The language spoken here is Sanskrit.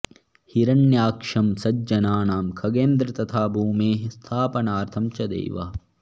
हिरण्याक्षं सज्जनानां खगेन्द्र तथा भूमेः स्थापनार्थं च देवः